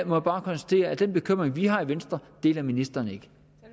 må bare konstatere at den bekymring vi har i venstre deler ministeren